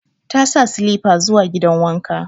Ta sa silifa zuwa gidan wanka.